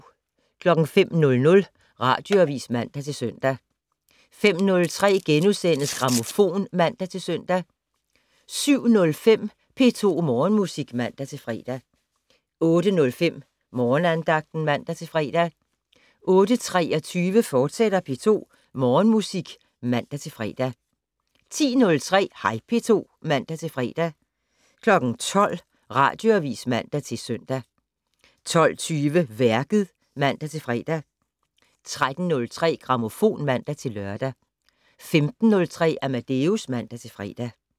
05:00: Radioavis (man-søn) 05:03: Grammofon *(man-søn) 07:05: P2 Morgenmusik (man-fre) 08:05: Morgenandagten (man-fre) 08:23: P2 Morgenmusik, fortsat (man-fre) 10:03: Hej P2 (man-fre) 12:00: Radioavis (man-søn) 12:20: Værket (man-fre) 13:03: Grammofon (man-lør) 15:03: Amadeus (man-fre)